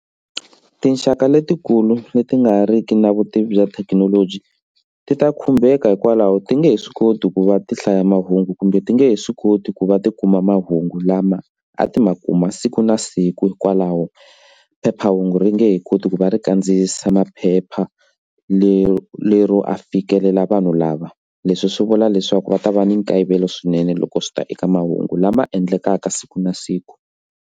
Tinxaka letikulu leti nga riki na vutivi bya thekinoloji ti ta khumbeka hikwalaho ti nge he swi koti ku va ti hlaya mahungu kumbe ti nga he swi koti ku va ti kuma mahungu lama a ti ma kuma siku na siku hikwalaho phephahungu ri nge he koti ku va ri kandziyisisa maphepha lero a fikilela vanhu lava. Leswi swi vula leswaku va ta va ni nkayivelo swinene loko swi ta eka mahungu lama endlakaka siku na siku.